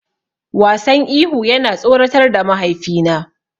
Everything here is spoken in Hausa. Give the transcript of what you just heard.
Wasan ihu yana tsoratar da mahaifina.